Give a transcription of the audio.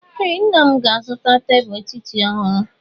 Ee, nna m ga-azụta tebụl etiti ọhụrụ.